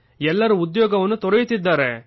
ಎಲ್ಲರೂ ಉದ್ಯೋಗ ತೊರೆಯುತ್ತಿದ್ದಾರೆ